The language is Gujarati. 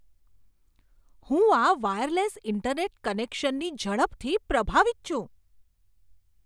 હું આ વાયરલેસ ઇન્ટરનેટ કનેક્શનની ઝડપથી પ્રભાવિત છું.